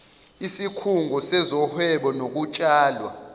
isikhungo sezohwebo nokutshalwa